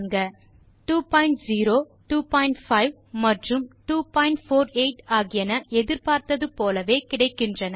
20 25 மற்றும் 248 ஆகியன எதிர்பார்த்தது போலவே கிடைக்கின்றன